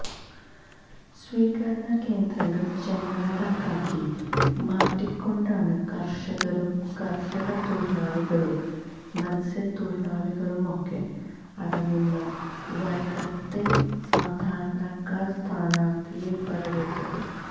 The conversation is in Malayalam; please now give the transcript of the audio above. സ്വീകരണ കേന്ദ്രങ്ങൾ ചെങ്കടലാക്കി മാറ്റികൊണ്ടാണ് കർഷകരും കർഷക തൊഴിലാളികളും മത്സ്യ തൊഴിലാളികളുമൊക്കെ അടങ്ങുന്ന വൈക്കത്തെ സാധാരണക്കാർ സ്ഥാനാർത്ഥിയെ വരവേറ്റത്